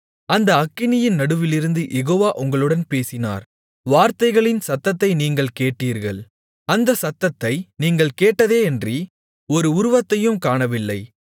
அந்த அக்கினியின் நடுவிலிருந்து யெகோவா உங்களுடன் பேசினார் வார்த்தைகளின் சத்தத்தை நீங்கள் கேட்டீர்கள் அந்தச் சத்தத்தை நீங்கள் கேட்டதேயன்றி ஒரு உருவத்தையும் காணவில்லை